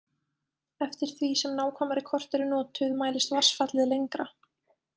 Eftir því sem nákvæmari kort eru notuð mælist vatnsfallið lengra.